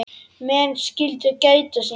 Menn skyldu gæta sín.